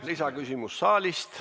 Lisaküsimus saalist.